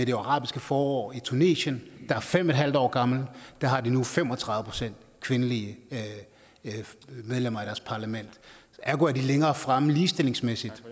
det arabiske forår i tunesien der er fem en halv år gammelt har de nu fem og tredive procent kvindelige medlemmer af deres parlament ergo er de længere fremme ligestillingsmæssigt